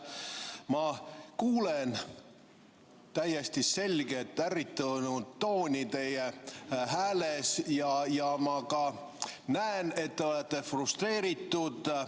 Ma kuulen täiesti selget ärritunud tooni teie hääles ja ma ka näen, et te olete frustreeritud.